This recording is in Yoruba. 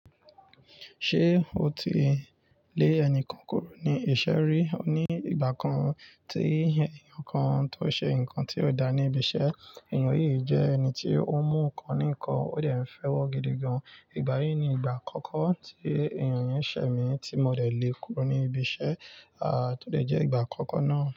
Ṣé o ti lé ẹnikan kúrò ní iṣẹ́ rí? Nìgbà kan tí èèyàn kan tó ṣe nǹkan tí ò dá ní ibi iṣẹ́? Èèyàn yìí jẹ́ ẹni tí ó mú nǹkan ní nǹkan, ó dẹ̀ ń fẹ́ wọ́ gidi gan. Ìgbà yìí ni ìgbà àkọ́kọ́ tí èèyàn yẹn ṣẹ̀ mī, tí mo dẹ̀ lé e kúrò ní ibi iṣẹ́, tó dẹ̀ jẹ́ ìgbà àkọ́kọ́ náà.